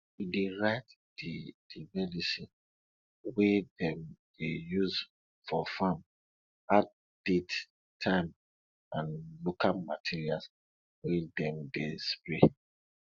e dey write di di medicine wey dem dey use for farm add date time and local materials wey dem dey spray